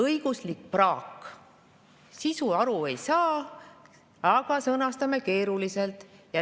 Õiguslik praak: sisust aru ei saa, aga sõnastame keeruliselt.